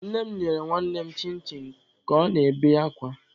Nne m nyere nwannem chin chin ka ọ na-ebe akwa.